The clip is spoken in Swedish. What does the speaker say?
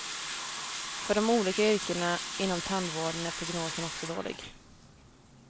För de olika yrkena inom tandvården är prognosen också dålig.